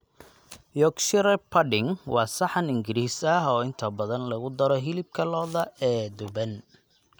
Yorkshire pudding waa saxan Ingiriis ah oo inta badan lagu daro hilibka lo'da ee duban.